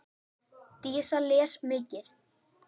Dísa les mikið.